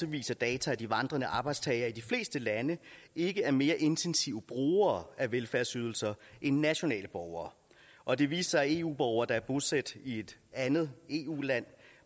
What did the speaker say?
viser data at de vandrende arbejdstagere i de fleste lande ikke er mere intensive brugere af velfærdsydelser end nationale borgere og det viste sig at eu borgere der er bosat i et andet eu land